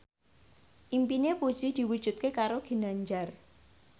impine Puji diwujudke karo Ginanjar